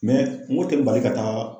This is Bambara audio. n ko o tɛ n bali ka taga